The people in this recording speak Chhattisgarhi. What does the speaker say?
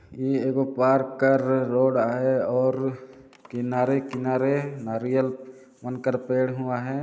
ये एगो पार्क का रोड है और किनारे-किनारे नारियल बनकर पेड़ हुआ है।